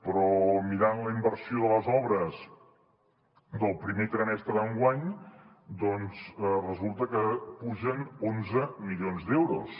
però mirant la inversió de les obres del primer trimestre d’enguany doncs resulta que pugen onze milions d’euros